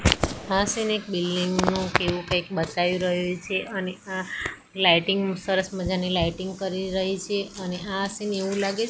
આ સીન એક બિલ્ડીંગ નુ કે એવુ કઈક બતાય રહ્યુ છે અને આ લાઈટિંગ સરસ મજાની લાઈટિંગ કરી રહી છે અને આ સીન એવુ લાગે--